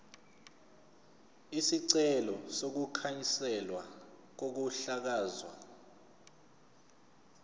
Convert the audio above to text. isicelo sokukhanselwa kokuhlakazwa